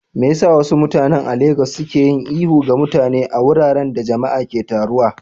Me yasa wasu mutane a Legas suke yin ihu ga mutane a wuraren da jama'a ke taruwa?